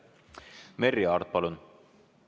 Merry Aart, palun!